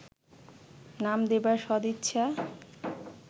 নাম দেবার সদিচ্ছা